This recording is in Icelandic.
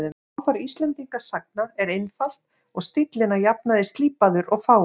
Málfar Íslendingasagna er einfalt og stíllinn að jafnaði slípaður og fágaður.